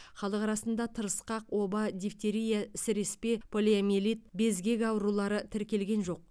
халық арасында тырысқақ оба дифтерия сіреспе полиомиелит безгек аурулары тіркелген жоқ